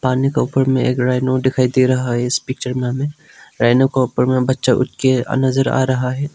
पानी के ऊपर मे एक राइनो दिखाई दे रहा है इस पिक्चर में हमें रैनो के ऊपर में बच्चा उठ के नजर आ रहा है।